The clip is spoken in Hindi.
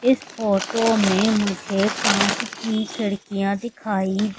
इस फोटो में मुझे कांच की खिड़कियां दिखाई--